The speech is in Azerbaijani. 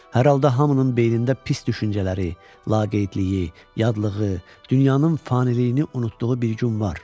Hər halda hamının beynində pis düşüncələri, laqeydliyi, yadlığı, dünyanın faniliyini unutduğu bir gün var.